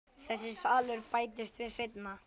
Þessi salur bættist við seinna.